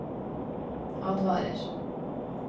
advarer